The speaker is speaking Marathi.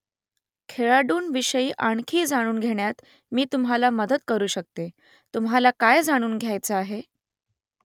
खेळाडूंविषयी आणखी जाणून घेण्यात मी तुम्हाला मदत करू शकते . तुम्हाला काय जाणून घ्यायचं आहे ?